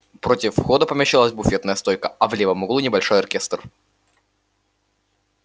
против входа помещалась буфетная стойка а в левом углу небольшой оркестр